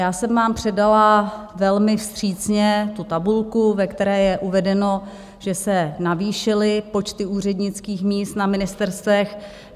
Já jsem vám předala velmi vstřícně tu tabulku, ve které je uvedeno, že se navýšily počty úřednických míst na ministerstvech.